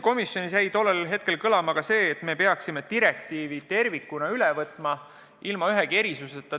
Komisjonis jäi kõlama ka see, et me peaksime direktiivi tervikuna üle võtma, tegemata ühtegi erisust.